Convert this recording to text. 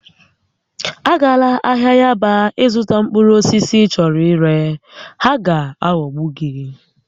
Agala ahịa Yaba ịzụta mkpụrụ osisi ị chọrọ ire, ha ga-aghọgbu gị!